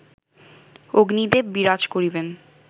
অগ্নিদেব বিরাজ করিবেন